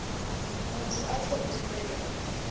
muthu a tou hu tendelela